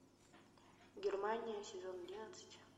германия сезон одиннадцать